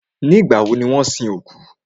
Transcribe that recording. Ìgbà wọ ni wọ́n sin òkú?